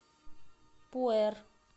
пуэр